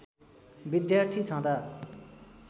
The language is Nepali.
विद्यार्थी छदाँ